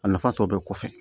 A nafa tɔ bɛɛ kɔfɛ